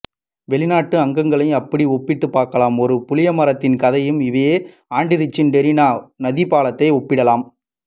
வெளிநாட்டு ஆக்கங்களையும் அப்படி ஒப்பிட்டு பார்க்கலாம் ஒரு புளியமரத்தின் கதையையும் இவோ ஆண்டிரிச்சின் டிரினா நதிப்பாலத்தையும் ஒப்பிடலாம்